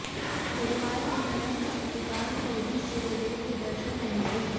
बुधवार की तरह बृहस्पतिवार को भी सूर्यदेव के दर्शन नहीं हुए